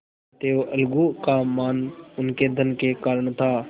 अतएव अलगू का मान उनके धन के कारण था